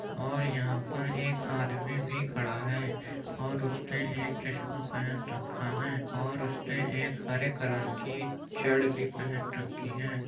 और यहाँ पर एक आदमी भी खड़ा हैं और उसने एक चस्मा पहन रखा हैं और उसने एक हरे कलर की चड़ भी पहन रखी हैं।